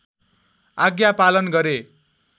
आज्ञा पालन गरे